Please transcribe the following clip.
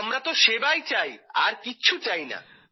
আমরা তো সেবাই চাই আর কিছু না